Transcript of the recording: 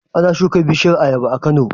Ana shuka bishiyar ayaba a Kano?